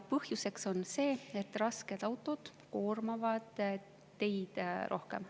Põhjuseks on see, et rasked autod koormavad teid rohkem.